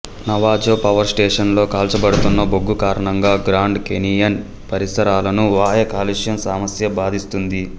Navajo power స్టేషనులో కాల్చబడుతున్న బొగ్గు కారణంగా గ్రాండ్ కేనియన్ పరిసరాలను వాయు కాలుష్యం సమస్య బాధిస్తుంది